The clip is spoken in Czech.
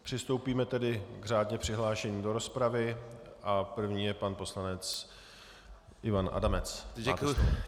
Přistoupíme tedy k řádně přihlášeným do rozpravy a první je pan poslanec Ivan Adamec.